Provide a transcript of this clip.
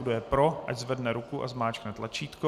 Kdo je pro, ať zvedne ruku a zmáčkne tlačítko.